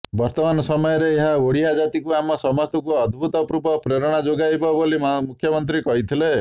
ବର୍ତ୍ତମାନ ସମୟରେ ଏହା ଓଡିଆ ଜାତିକୁ ଆମ ସମସ୍ତଙ୍କୁ ଅଦ୍ଭୁତପୂର୍ବ ପ୍ରେରଣା ଯୋଗାଇବ ବୋଲି ମୁଖ୍ୟମନ୍ତ୍ରୀ କହିଥିଲେ